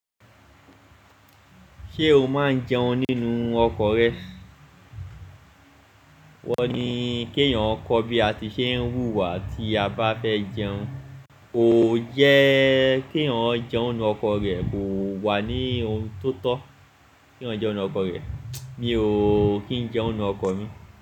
Ṣé o máa ń jẹun nínú ọkọ̀ rẹ? Wọ́n ní kí èèyàn kọ́ bí a ti ṣe ń wúwa tí a bá fẹ́ jẹun. Ó yẹ́ kí èèyàn jẹun nínú ọkọ̀ rẹ̀ kò wà ní ohun tó tọ́. Kí wọ́n jẹun nínú ọkọ̀ rẹ̀, mí oo kì ń jẹun nínú ọkọ̀ mi.